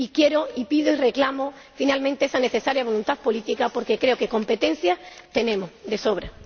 y quiero y pido y reclamo, finalmente, esa necesaria voluntad política, porque creo que competencias tenemos de sobra.